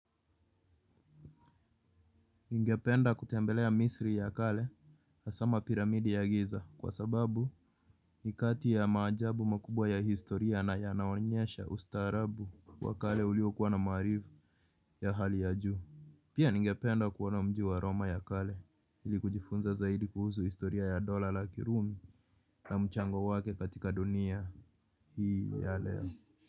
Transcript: Ningependa kutembelea misri ya kale hasa mapiramidi ya giza kwa sababu ni kati ya majaabu makubwa ya historia na ya naonyesha ustaarabu wa kale uliwokuwa na maarifa ya hali ya juu. Pia ningependa kuona mjiu aroma ya kale ili kujifunza zaidi kuhusu historia ya dola la kirumi na mchango wake katika dunia hii ya leo.